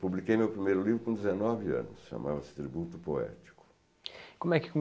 Publiquei meu primeiro livro com dezenove anos, chamava-se Tributo Poético. Como é que